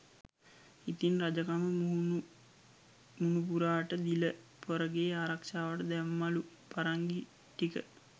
ඉතින් රජකම මුණුපුරාට දීල පොරගේ ආරක්ෂාවට දැම්මලු පරංගි ටික.